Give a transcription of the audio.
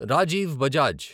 Rajiv Bajaj